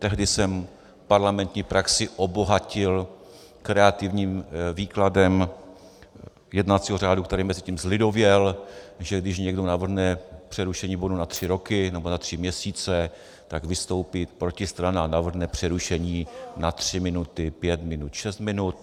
Tehdy jsem parlamentní praxi obohatil kreativním výkladem jednacího řádu, který mezitím zlidověl, že když někdo navrhne přerušení bodu na tři roky nebo na tři měsíce, tak vystoupí protistrana a navrhne přerušení na tři minuty, pět minut, šest minut.